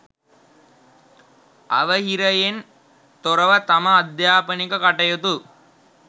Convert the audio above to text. අවහිරයෙන් තොරව තම අධ්‍යාපනික කටයුතු